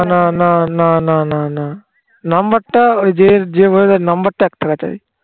না না না না না না number টা ওই যে number টা একটা